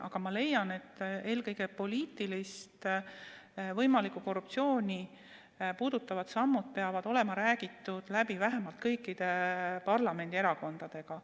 Aga ma leian, et eelkõige poliitilist korruptsiooni puudutavad sammud peavad olema läbi räägitud vähemalt kõikide parlamendierakondadega.